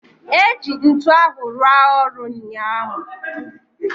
eji ntu ahu rua oru unyahu